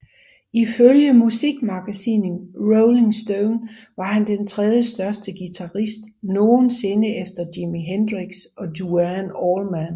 Ifølge musikmagasinet Rolling Stone var han den tredjestørste guitarist nogensinde efter Jimi Hendrix og Duane Allman